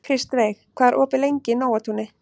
Kristveig, hvað er opið lengi í Nóatúni?